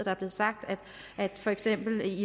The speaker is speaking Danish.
er blevet sagt at der for eksempel